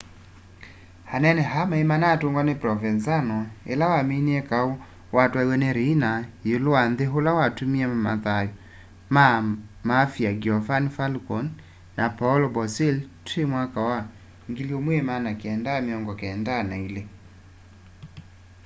anene aa maimanatungwa ni provenzano ila waminie kau watwaiiw'e ni riina iulu wa nthi ula watumie mathau maa ma mafia giovanni falcone na paolo borsellino twi 1992